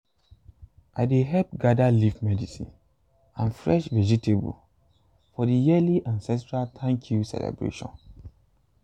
i dey help gather leaf medicine and fresh vegetable for the yearly ancestral thank-you celebration.